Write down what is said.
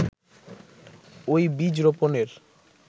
ওই বীজ রোপনের